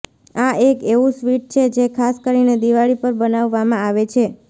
આ એક એવું સ્વીટ છે જે ખાસ કરીને દિવાળી પર બનાવવામાં આવે છે